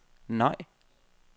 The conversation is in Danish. nej